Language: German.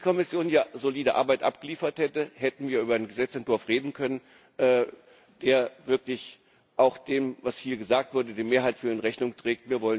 Wenn die Kommission hier solide Arbeit abgeliefert hätte, hätten wir über einen Gesetzentwurf reden können, der wirklich auch dem, was hier gesagt wurde, und dem Mehrheitswillen Rechnung trägt.